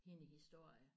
Hende historie